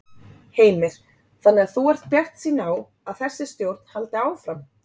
Heimir: Þannig að þú ert bjartsýn á að þessi stjórn haldi áfram?